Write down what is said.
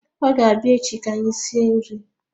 Ọ ga-abịa echi ka anyị sie nri